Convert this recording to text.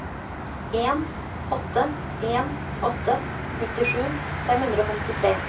en åtte en åtte nittisju fem hundre og femtitre